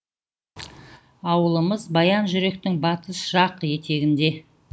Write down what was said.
ауылымыз баянжүректің батыс жақ етегінде